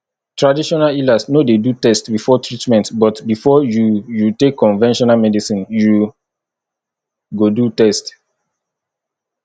traditional healers no de do test before treatment but before you you take conventional medicine you go do test